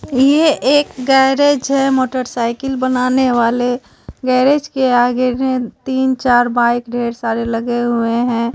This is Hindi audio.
ये एक गैरेज है मोटरसाइकिल बनाने वाले गैरेज के आगे मे तीन चार बाइक ढेर सारे लगे हुए हैं।